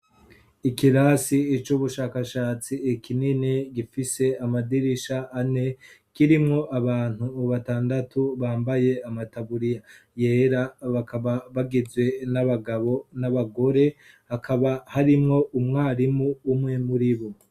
ikirasi cubushakashatsi kinini gifise amadirisha ane, kirimwo abantu batandatu bambaye amataburiya yera bakaba bagizwe n'abagabo n'abagore, hakaba harimwo umwarimu umwe muri bo.